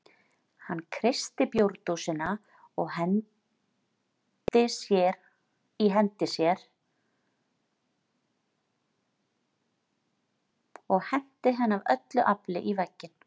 Hann kreisti bjórdósina í hendi sér og henti henni af öllu afli í vegginn.